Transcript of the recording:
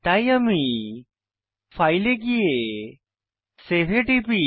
তাই আমি ফাইল এ গিয়ে সেভ এ টিপি